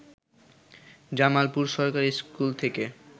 জামালপুর সরকারি স্কুল থেকে